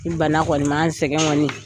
Ni bana kɔni sɛgɛn kɔni